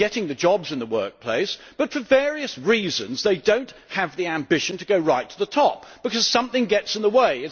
They are getting the jobs in the workplace, but for various reasons they do not have the ambition to go right to the top because something gets in the way.